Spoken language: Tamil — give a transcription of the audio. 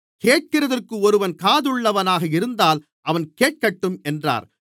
கேட்கிறதற்கு ஒருவன் காதுள்ளவனாக இருந்தால் அவன் கேட்கட்டும் என்றார்